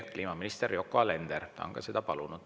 Kliimaminister Yoko Alender on seda palunud.